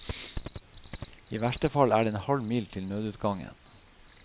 I verste fall er det en halv mil til nødutgangen.